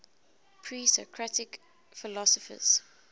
presocratic philosophers